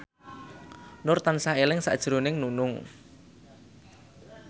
Nur tansah eling sakjroning Nunung